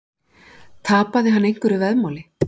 Tapaði hann einhverju veðmáli?